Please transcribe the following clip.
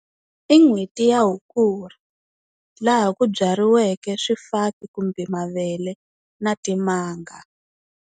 I n'hweti ya Hukuri laha ku byariweke swifaki kumbe mavele na timanga.